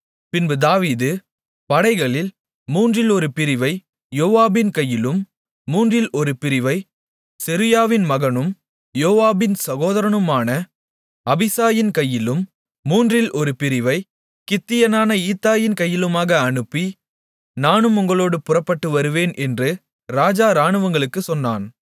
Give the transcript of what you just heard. பின்பு தாவீது படைகளில் மூன்றில் ஒரு பிரிவை யோவாபின் கையிலும் மூன்றில் ஒரு பிரிவைச் செருயாவின் மகனும் யோவாபின் சகோதரனுமான அபிசாயின் கையிலும் மூன்றில் ஒரு பிரிவைக் கித்தியனான ஈத்தாயின் கையிலுமாக அனுப்பி நானும் உங்களோடு புறப்பட்டு வருவேன் என்று ராஜா இராணுவங்களுக்குச் சொன்னான்